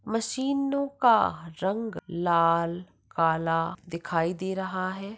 मशीनो का रंग लाल काला दिखाई दे रहा है।